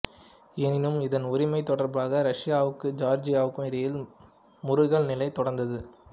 எனினும் இதன் உரிமை தொடர்பாக ரஷ்யாவுக்கும் ஜோர்ஜியாவுக்கும் இடையில் முறுகல் நிலை தொடர்ந்தது